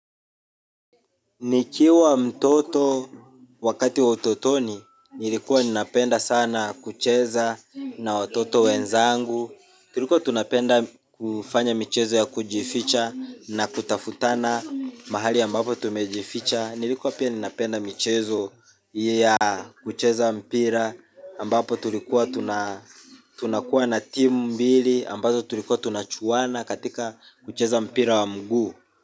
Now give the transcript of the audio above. Nikiwa mtoto wakati wa utotoni, nilikuwa ninapenda sana kucheza na watoto wenzangu. Tulikuwa tunapenda kufanya michezo ya kujificha na kutafutana mahali ambapo tumejificha. Nilikuwa pia ninapenda michezo ya kucheza mpira ambapo tulikuwa tunakuwa na timu mbili ambazo tulikuwa tunachuana katika kucheza mpira wa mguu.